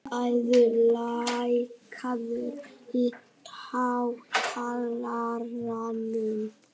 Eiður, lækkaðu í hátalaranum.